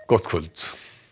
gott kvöld